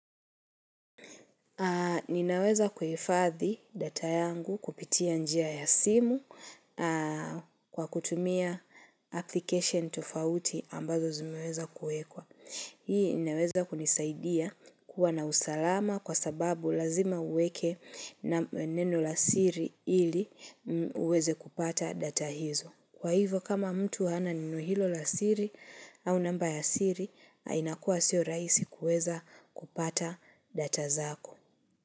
Ninaweza kuhifadhi data yangu, kupitia njia ya simu, kwa kutumia application tofauti, ambazo zimeweza kuwekwa. Hii inaweza kunisaidia kuwa na usalama, kwa sababu lazima uweke na neno la siri, ili uweze kupata data hizo. Kwa hivyo kama mtu hana neno hilo la siri, au namba ya siri, nainakuwa sio rahisi kuweza kupata data zako.